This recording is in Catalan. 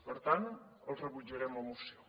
per tant els rebutjarem la moció